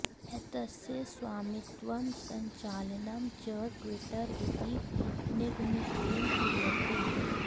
एतस्य स्वामित्वं सञ्चालनं च ट्विटर इति निगमितेन क्रियते